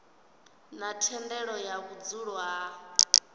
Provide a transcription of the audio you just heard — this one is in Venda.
na thendelo ya vhudzulo ha